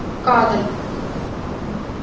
காதல். உம்